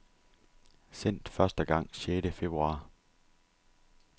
Sendt første gang sjette februar.